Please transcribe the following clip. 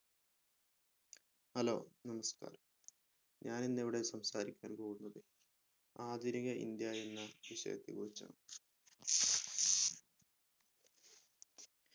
hello നമസ്‌കാരം ഞാൻ ഇന്ന് ഇവിടെ സംസാരിക്കാൻ പോകുന്നത് ആധുനിക ഇന്ത്യ എന്ന വിഷയത്തെ കുറിച്ചാണ്